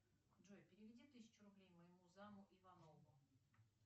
джой переведи тысячу рублей моему заму иванову